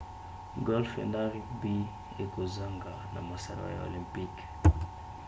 golfe na rugby ekozonga na masano ya olympique